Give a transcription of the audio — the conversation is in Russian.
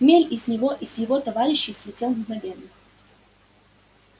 хмель и с него и с его товарищей слетел мгновенно